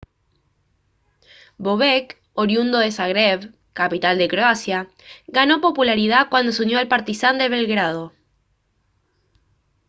bobek oriundo de zagreb capital de croacia ganó popularidad cuando se unió al partizan de belgrado